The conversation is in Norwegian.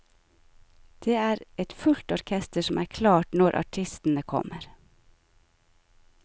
Det er et fullt orkester som er klart når artistene kommer.